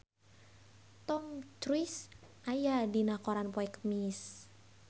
Tom Cruise aya dina koran poe Kemis